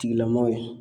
Tigilamɔw ye